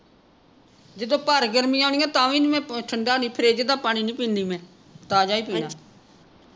ਜਿਦੋਂ ਭਾਰੀ ਗਰਮੀਆਂ ਆਉਣੀਆ ਤਾਂ ਵੀ ਨਹੀਂ ਮੈਂ ਠੰਡਾ ਨਹੀਂ ਫਰਿਜ ਦਾ ਪਾਣੀ ਨਹੀਂ ਪਿੰਦੀ ਮੈਂ ਤਾਜਾ ਪੀਨਾ